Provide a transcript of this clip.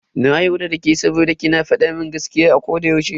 Na yarda dake saboda ki na fadin gaskiya a koda yaushe.